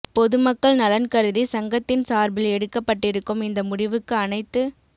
பொதுமக்கள் நலன் கருதி சங்கத்தின் சார்பில் எடுக்கப்பட்டிருக்கும் இந்த முடிவுக்கு அனைத்து